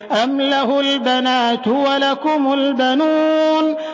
أَمْ لَهُ الْبَنَاتُ وَلَكُمُ الْبَنُونَ